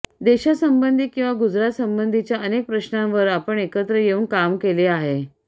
देशासंबंधी किंवा गुजरात संबंधीच्या अनेक प्रश्नांवर आपण एकत्र येऊन काम केले आहे